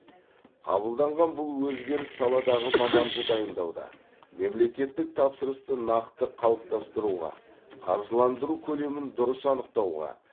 қабылданған бұл өзгеріс саладағы маманды дайындауда мемлекеттік тапсырысты нақты қалыптастыруға қаржыландыру көлемін дұрыс анықтауға